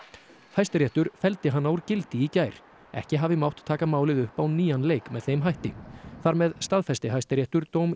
Hæstiréttur felldi hana úr gildi í gær ekki hafi mátt taka málið upp á nýjan leik með þeim hætti þar með staðfesti Hæstiréttur dóm